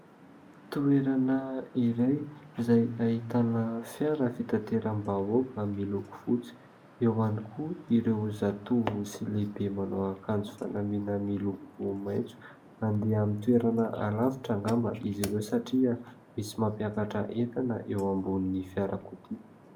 Toerana iray izay ahitana fiara fitanteram-bahoaka miloko fotsy, eo ihany koa ireo zatovo sy lehibe manao akanjo fanamiana miloko maitso. Andeha amin'ny toerana alavitra angamba izy ireo satria misy mampiakatra entana eo ambony fiarakodia.